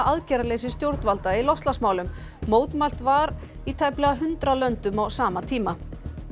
aðgerðaleysi stjórnvalda í loftslagsmálum mótmælt var í tæplega hundrað löndum á sama tíma